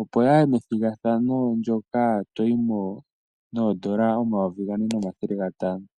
opo yaye methigathano ndjoka toyi mo nodollar omayovi gane nomathele gantano.